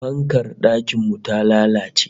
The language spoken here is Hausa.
Fankar dakin mu ta lalace